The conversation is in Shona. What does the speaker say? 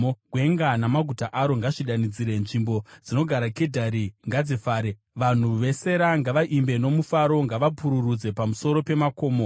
Gwenga namaguta aro ngazvidanidzire; nzvimbo dzinogara Kedhari ngadzifare. Vanhu veSera ngavaimbe nomufaro; ngavapururudze pamusoro pemakomo.